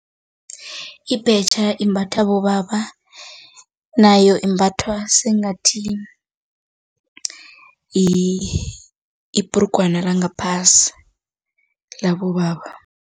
Ibhetjha imbatha bobaba, nayo imbathwa sengathi yibhrugwana langaphasi labobaba.